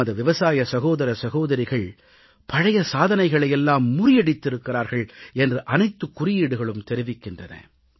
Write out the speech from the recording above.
நமது விவசாய சகோதர சகோதரிகள் பழைய சாதனைகளை எல்லாம் முறியடித்திருக்கிறார்கள் என்று அனைத்துக் குறியீடுகளும் தெரிவிக்கின்றன